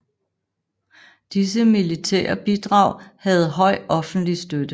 Disse militære bidrag havde høj offentlig støtte